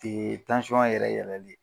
yɛrɛ yɛlɛli